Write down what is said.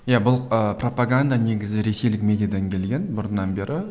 иә бұл ыыы пропаганда негізі ресейлік медиадан келген бұрыннан бері